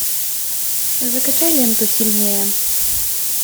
закачай ленту сильнее